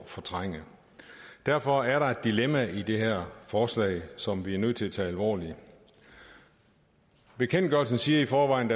fortrænge derfor er der et dilemma i det her forslag som vi er nødt til at tage alvorligt bekendtgørelsen siger i forvejen